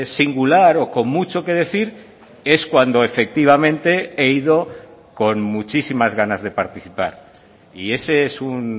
singular o con mucho que decir es cuando efectivamente he ido con muchísimas ganas de participar y ese es un